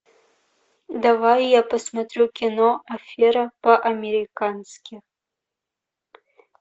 давай я посмотрю кино афера по американски